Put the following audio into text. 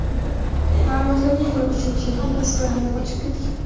Ma’lumotlarga ko‘ra, uchinchi erkak Estoniyaga qochib ketgan.